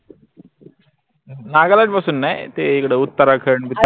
नागालँड पासून नाई ते इकड उत्तराखंड